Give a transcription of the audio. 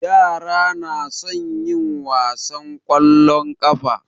Yara na son yin wasan ƙwallon ƙafa.